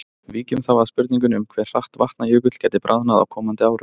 Víkjum þá að spurningunni um hve hratt Vatnajökull gæti bráðnað á komandi árum.